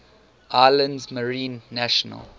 islands marine national